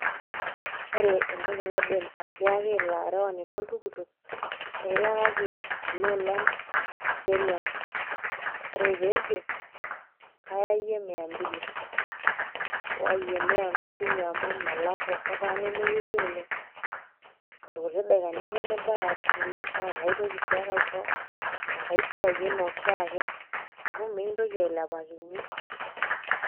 Ore entoki naidim atiaaki ilo arewani loltukutuk, ee iyakaki kuloolan kiserian. Ore peejo, kaayayie miambili, ai iwuayie mia amisini amu melakua ketaana inewuei oleng' irkuti daikani ake nibaya ashukunye naakaitoki sii ake aisho engai siai enooshiake neaku mikintoki ailepakinye.